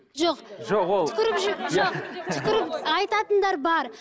жоқ жоқ ол түкіріп айтатындар бар